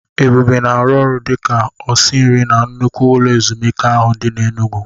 Ebube na-arụ ọrụ dị ka osinri na nnukwu ụlọ ezumike ahụ dị n'Enugwu.